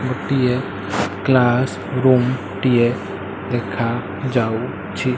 ଗୋଟିଏ classroom ଟିଏ ଦେଖା ଯାଉଛି।